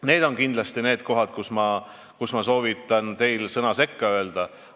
Need on kindlasti need kohad, kus ma soovitan teil sõna sekka öelda.